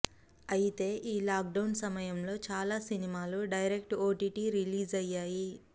అయితే ఈ లాక్డౌన్ సమయంలో చాలా సినిమాలు డైరెక్టర్ ఓటీటీ రిలీజ్లయ్యాయి